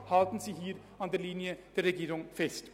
Halten Sie hier an der Linie der Regierung fest.